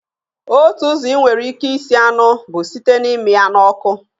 Otu ụzọ ị nwere ike isi anụ bụ site na-ịmị ya n'ọkụ